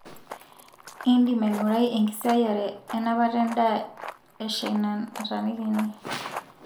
indim aingurai enkisiayiare enapata endaa eshaina nataaniki ene